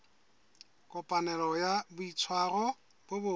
kopanelo ya boitshwaro bo botle